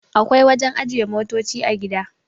akwai wajen ajiye motoci a gida